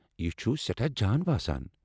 یہِ چھُ سیٹھاہ جان باسان ۔